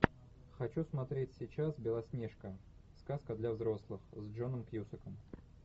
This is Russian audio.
хочу смотреть сейчас белоснежка сказка для взрослых с джоном кьюсаком